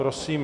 Prosím.